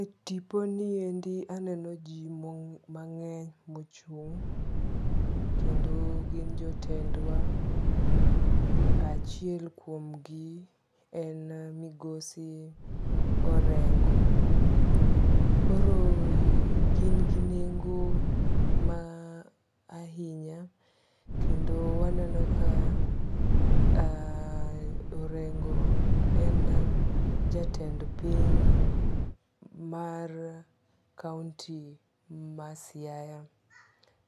E tipo ni endi aneno ji mang'eny mochung'. Kendo gin jotendwa. Achiel kuom gi en migosi Orengo. Koro gin gi nengo ahinya kendo waneno ka orengo en jatend piny mar kaunti ma Siaya.